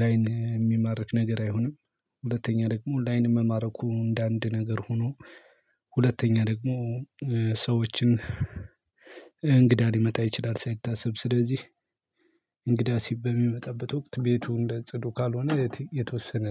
ላይን የሚማርክ ነገር አይሆንም። ሁለተኛ ደግሞ ላይን መማረኩ እንደ አንድ ነገር ሆኖ ሁለተኛ ደግሞ ሰዎችን እንግዳ ሊመጣ ይችላል። ሳይታሰብ ስለዚህ እንግዳ ሲብ በሚመጣበት ወቅት ቤቱ እንደ ጽዱ ካልሆነ የተወሰነ